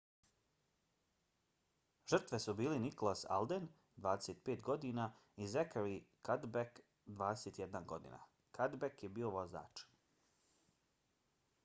žrtve su bili nicholas alden 25godina i zachary cuddeback 21 godina. cuddeback je bio vozač